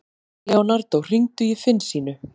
Leonardo, hringdu í Finnsínu.